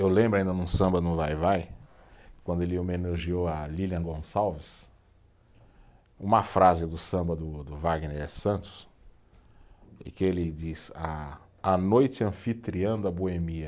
Eu lembro ainda num samba no Va-Vai, quando ele homenageou a Lilian Gonçalves, uma frase do samba do do Wagner Santos, em que ele diz, a a noite anfitriã da boemia